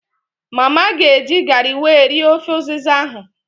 Mma ga eji garị wee rie ofe ụzịza ahụ